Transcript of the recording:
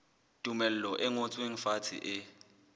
tumello e ngotsweng fatshe e